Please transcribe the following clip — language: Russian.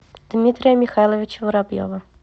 дмитрия михайловича воробьева